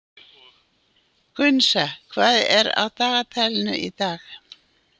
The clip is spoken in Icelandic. Gunnsa, hvað er á dagatalinu í dag?